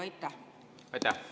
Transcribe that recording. Aitäh!